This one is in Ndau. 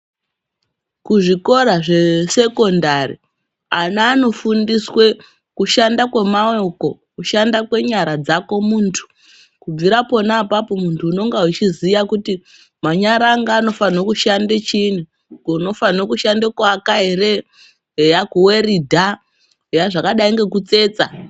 Kuzvikosa zvesekondari ana anofundiswe kushanda kwemaoko keshanda kwenyara dzako muntu kubvira pona apapo muntu unenga uchiziya kuti manyara angu anofanha kushande chini unofane kushande kuaka ere eya kuweridha eya zvakadai ngekutsetsa